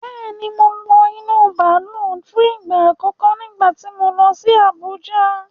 Bẹ́ẹ̀ni, mo wọ inú bàálù fún ìgbà àkọ́kọ́ nígbà tí mo lọ sí Abùjá.